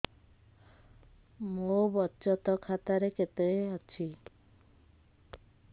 ମୋ ବଚତ ଖାତା ରେ କେତେ ଅଛି